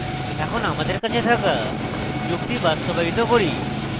এখন আমাদের কাছে থাকা যুক্তি বাস্তবায়িত করি